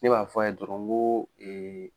Ne b'a fɔ a ye dɔrɔn nko